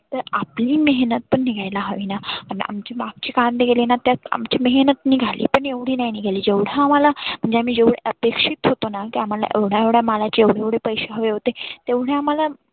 तर आपली मेहनत पण निघायला हवीना. आमचे मागचे कांदे गेलेना त्यात आमची मेहनत निघाली पण एवढी नाही निघाली जेव्हढ आम्हाला म्हणजे आम्ही जेव्हढ आपेक्षीत होतंना ते आम्हाला एवढा मालाचे एवढे एवढे पैसे हवे होते. तेव्हढे आम्हाला